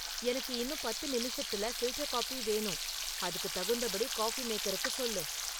எனக்கு இன்னும் பத்து நிமிஷத்துல ஃபில்டர் காபி வேணும், அதுக்குத் தகுந்தபடி காஃபி மேக்கருக்கு சொல்லு